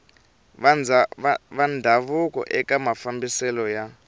va ndhavuko eka mafambiselo ya